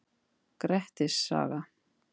Grettis saga.